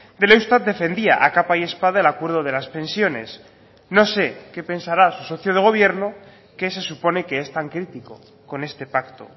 del eustat defendía a capa y espada el acuerdo de las pensiones no sé qué pensará su socio de gobierno que se supone que es tan crítico con este pacto